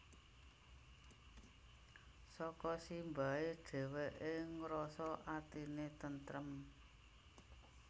Saka simbahe dheweke ngrasa atine tentrem